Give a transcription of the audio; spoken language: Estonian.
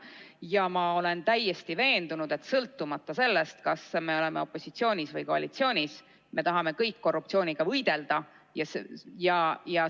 Ja ma olen täiesti veendunud, et sõltumata sellest, kas me oleme opositsioonis või koalitsioonis, me tahame kõik korruptsiooniga võidelda.